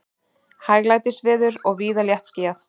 Hæglætisveður og víða léttskýjað